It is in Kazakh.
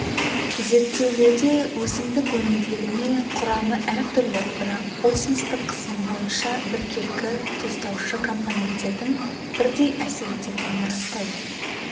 зерттеулерде өсімдік өнімділігіне құрамы әртүрлі бірақ осмостық қысымы бойынша біркелкі тұздаушы компоненттердің бірдей әсер ететінін растайды